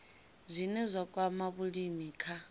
zwine zwa kwama vhulimi kha